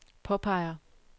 påpeger